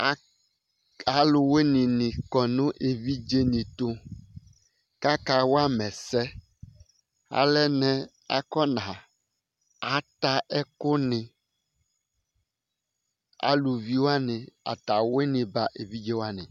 Aluwini ni kɔ nʋ evidze ni tu kʋ aka wama ɛsɛ Alɛnɛ kʋ ata ɛku ni Alʋvi wani ata awini ba evidze wani